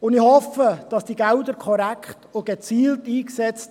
Ich hoffe, diese Gelder werden korrekt und gezielt eingesetzt.